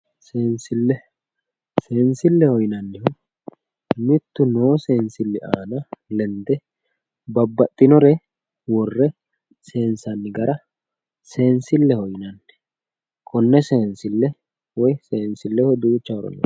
seensile, seensilleho yinayihu mittu noosi seensille lende babbaxxinore worre seensanni gara seensilleho yinanni, konne seensille woy seensilleho duucha horo heedhanno.